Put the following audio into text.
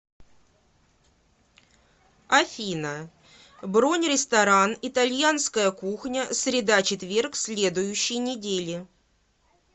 афина бронь ресторан итальянская кухня среда четверг следующей недели